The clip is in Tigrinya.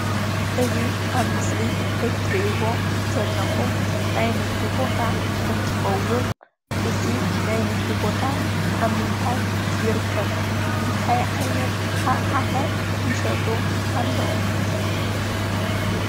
እዚ ኣብ ምስሊ እትርእይዎ ዘለኹም ናይ ንግዲ ቦታ እንትኸውን እዚ ናይ ንግዲ ቦታ ኣብ ምንታይ ይርከብ? እንታይ ዓይነት ኣቅሓ ኸ ይሸጡ ኣለው?